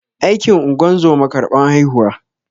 Aikin ingozuma karban haihuwa